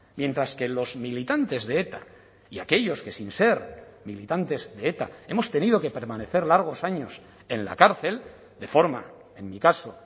mientras que los militantes de eta y aquellos que sin ser militantes de eta hemos tenido que permanecer largos años en la cárcel de forma en mi caso